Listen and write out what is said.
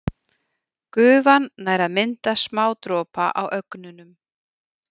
Gufan nær að mynda smádropa á ögnunum.